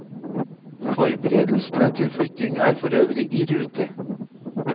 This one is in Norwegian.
Forberedelsene til flytting er forøvrig i rute.